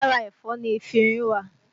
Lára ẹ̀fọ́ ni efinrin wà